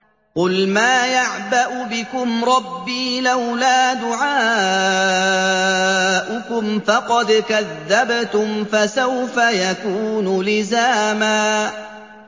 قُلْ مَا يَعْبَأُ بِكُمْ رَبِّي لَوْلَا دُعَاؤُكُمْ ۖ فَقَدْ كَذَّبْتُمْ فَسَوْفَ يَكُونُ لِزَامًا